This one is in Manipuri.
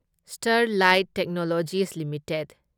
Sterlite technologies limited